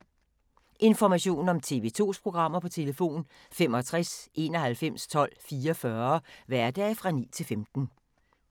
Information om TV 2's programmer: 65 91 12 44, hverdage 9-15.